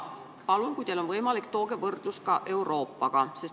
Palun, kui teil on võimalik, tooge võrdlus ka Euroopaga.